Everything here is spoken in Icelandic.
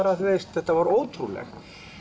þetta var ótrúlegt